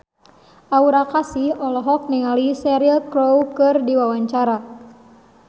Aura Kasih olohok ningali Cheryl Crow keur diwawancara